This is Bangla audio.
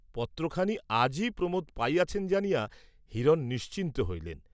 পত্রখানি আজই প্রমোদ পাইয়াছেন জানিয়া হিরণ নিশ্চিন্ত হইলেন।